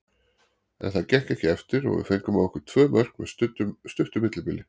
En það gekk ekki eftir og við fengum á okkur tvö mörk með stuttu millibili.